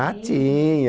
Ah, tinha.